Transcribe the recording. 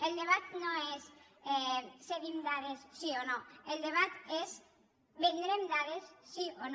el debat no és cedim dades sí o no el debat és vendrem dades sí o no